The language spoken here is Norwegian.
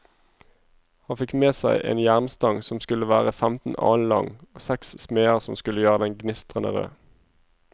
Han fikk seg en jernstang som skulle være femten alen lang, og seks smeder som skulle gjøre den gnistrende rød.